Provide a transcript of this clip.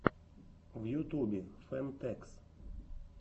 в ютубе фэн тэкс